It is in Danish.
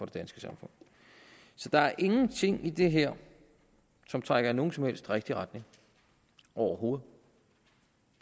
danske samfund så der er ingenting i det her som trækker i nogen som helst rigtig retning overhovedet